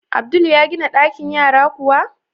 Abdul ya gina ɗakin yara kuwa?